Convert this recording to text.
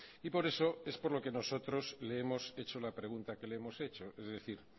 y por eso es por lo que nosotros le hemos hecho la pregunta que le hemos hecho es decir